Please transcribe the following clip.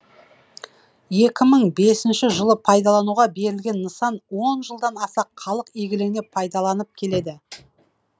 екі мың бесінші жылы пайдалануға берілген нысан он жылдан аса халық игілігіне пайдаланып келеді